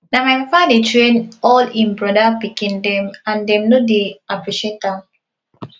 na my papa dey train all im brother pikin dem and dem no dey appreciate am